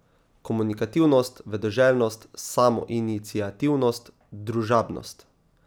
Komunikativnost, vedoželjnost, samoiniciativnost, družabnost ...